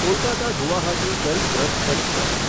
Kolkata Guwahati Garib Rath express